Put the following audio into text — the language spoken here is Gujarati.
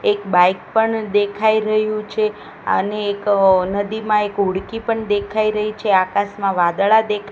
એક બાઇક પણ દેખાય રહ્યુ છે અને એક નદીમાં એક હોળકી પણ દેખાય રહી છે આકાસમાં વાદળા દે--